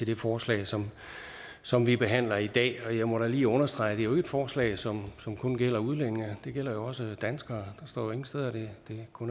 det forslag som som vi behandler i dag og jeg må da lige understrege at det jo et forslag som som kun gælder udlændinge det gælder jo også danskere står ingen steder at det